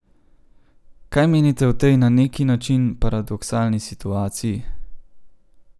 Kaj menite o tej na neki način paradoksalni situaciji?